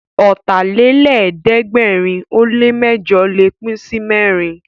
Ọ̀tàlélẹ̀ẹ́dẹ́gbẹ̀rin ó lè mẹ́jọ̀ lè pín sí mẹ́rin